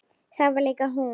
Það var líka hún.